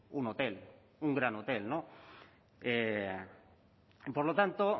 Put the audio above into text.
un hotel un gran hotel no y por lo tanto